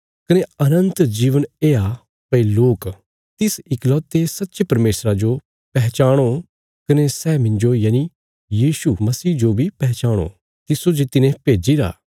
कने अनन्त जीवन येआ भई लोक तिस इकलौते सच्चे परमेशरा जो पैहचाणो कने सै मिन्जो यनि यीशु मसीह जो बी पैहचाणो तिस्सो जे तिने भेज्जीरा